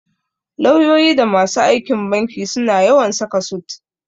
Lauyoyi da masu aikin banki suna yawan saka sut.